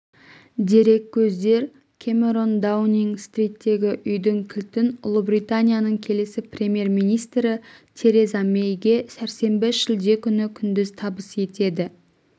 дереккөздер кэмерон даунинг-стриттегі үйдің кілтін ұлыбританияның келесі премьер-министрі тереза мэйге сәрсенбі шілде күні күндіз табыс етеді